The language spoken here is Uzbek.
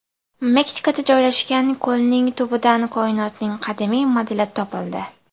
Meksikada joylashgan ko‘lning tubidan koinotning qadimiy modeli topildi.